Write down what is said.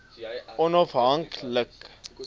onaf hank like